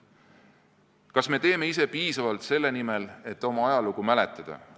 Kas me teeme ise piisavalt selle nimel, et oma ajalugu mäletada?